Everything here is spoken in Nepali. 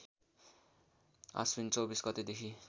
आश्विन २४ गतेदेखि